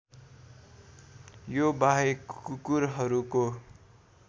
यो बाहेक कुकुरहरूको